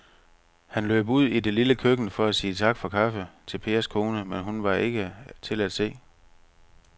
Han løb ud i det lille køkken for at sige tak for kaffe til Pers kone, men hun var ikke til at se.